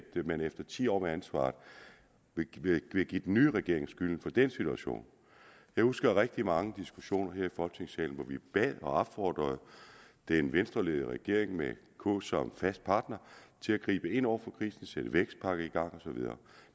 man efter ti år med ansvaret vil give den nye regering skylden for den situation jeg husker rigtig mange diskussioner her i folketingssalen hvor vi bad og opfordrede den venstreledede regering med k som fast partner til at gribe ind over for krisen sætte vækstpakke i gang og så videre